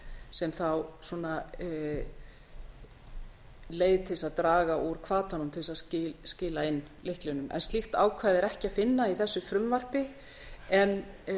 sem þá leið til þess að draga úr hvatanum til þess að skila inn lyklinum slíkt ákvæði er ekki að finna í þessu frumvarpi en